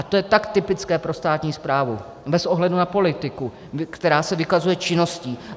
A to je tak typické pro státní správu bez ohledu na politiku, která se vykazuje činností.